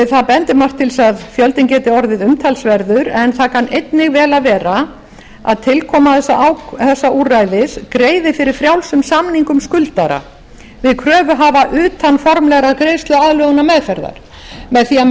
það bendir margt til þess að fjöldinn geti orðið umtalsverður en það kann einnig vel að verða að tilkoma þessa úrræðis greiði fyrir frjálsum samningum skuldara við kröfuhafa utan formlegrar greiðsluaðlögunarmeðferðar með því að